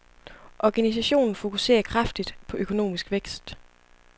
Organisationen fokuserer kraftigt på økonomisk vækst.